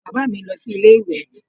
Bàbá mi lọ sí ilé ìwè